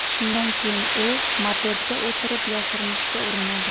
Shundan keyin u mopedga o‘tirib, yashirinishga urinadi.